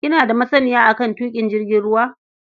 Kina da masaniya a kan tuƙin jirgin ruwa?